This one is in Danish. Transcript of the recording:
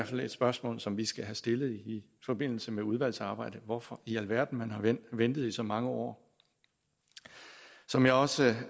fald et spørgsmål som vi skal have stillet i forbindelse med udvalgsarbejdet hvorfor i alverden man har ventet ventet i så mange år som jeg også